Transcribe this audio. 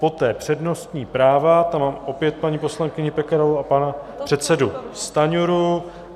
Poté přednostní práva, tam mám opět paní poslankyni Pekarovou a pana předsedu Stanjuru.